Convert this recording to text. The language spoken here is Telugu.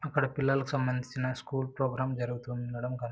ఇక్కడ పిల్లలకు సంబంధిచిన స్కూల్ ప్రోగ్రాం జరుగుతూ ఉండటం కన్--